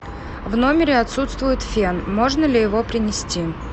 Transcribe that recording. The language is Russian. в номере отсутствует фен можно ли его принести